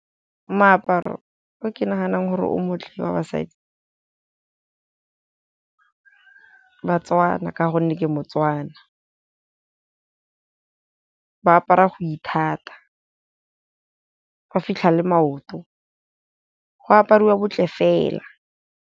Moaparo o ke naganang gore o montle wa basadi, ba-Tswana ka gonne ke mo-Tswana. Ba apara go ithata, go fitlha le maoto go apariwa botle fela.